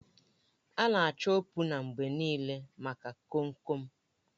A na-achọ opuna mgbe niile maka Kom kom